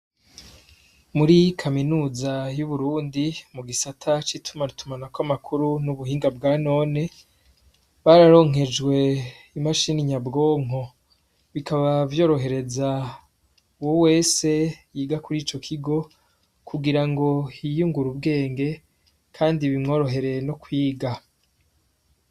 Muri kaminuza y'uburundi mu gisata c'ituma tuma na ko amakuru n'ubuhinga bwa none bararonkejwe imashini nyabwonko bikaba vyorohereza wo wese yiga kuri ico kigo kugira ngo hiyungure ubwenge, kandi bimworohere no kwiga.